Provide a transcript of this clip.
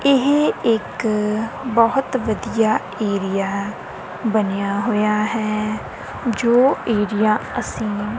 ਇਹ ਇੱਕ ਬਹੁਤ ਵਧੀਆ ਏਰੀਆ ਬਣਿਆ ਹੋਇਆ ਹੈ ਜੋ ਏਰੀਆ ਅੱਸੀਂ--